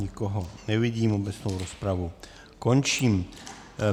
Nikoho nevidím, obecnou rozpravu končím.